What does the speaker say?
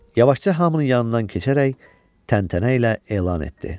Yavaşca hamının yanından keçərək təntənə ilə elan etdi.